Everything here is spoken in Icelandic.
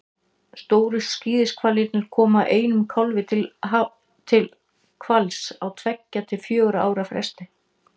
stóru skíðishvalirnir koma einum kálfi til hvals á tveggja til fjögurra ára fresti